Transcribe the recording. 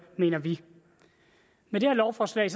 mener vi med det her lovforslag